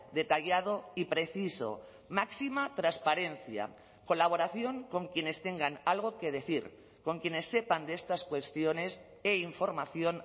detallado y preciso máxima transparencia colaboración con quienes tengan algo que decir con quienes sepan de estas cuestiones e información